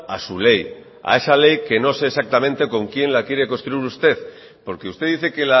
a su ley a esa ley que no sé exactamente con quién la quiere construir usted porque usted dice que